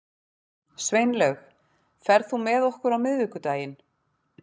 Sveinlaug, ferð þú með okkur á miðvikudaginn?